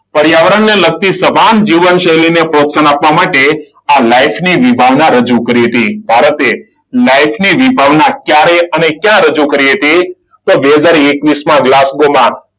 પર્યાવરણને લગતી સભાન જીવનશૈલી ને પ્રોત્સાહન આપવા માટે આ લાઇફની વિભાગને રજૂ કરી હતી. ભારતે લાઈફની ભાવના ક્યારે અને ક્યાં રજૂ કરી હતી? તો બે હજાર એકવીસમાં ગ્લાસકોમાં,